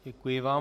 Děkuji vám.